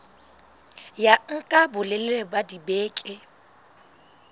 ya nka bolelele ba dibeke